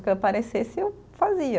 O que aparecesse, eu fazia.